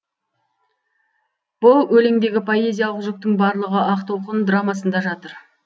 бұл өлеңдегі поэзиялық жүктің барлығы ақ толқын драмасында жатыр